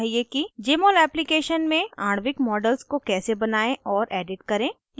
* jmol application में आणविक models को कैसे बनायें और edit करें